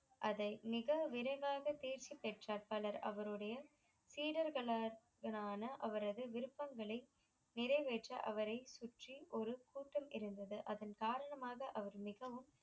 அதை மிக விரைவாக தேர்ச்சி பெற்றார் பலர் அவருடைய சீடர்களான அவரது விருப்பங்களை நிறைவேற்ற அவரை சுற்றி ஒரு கூட்டம் இருந்தது அதன் காரணமாக அவர் மிகவும்